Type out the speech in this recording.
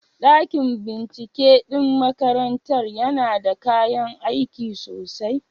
Dakin binciken ɗin makarantar yana da kayan aiki sosai?